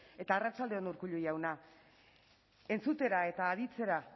eta arratsalde on urkullu jauna entzutera eta aditzera